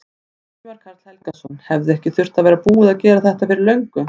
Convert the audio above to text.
Ingimar Karl Helgason: Hefði ekki þurft að vera búið að gera þetta fyrir löngu?